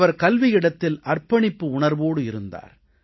அவர் கல்வியிடத்தில் அர்ப்பணிப்பு உணர்வோடு இருந்தார்